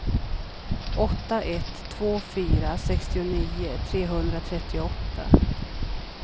åtta ett två fyra sextionio trehundratrettioåtta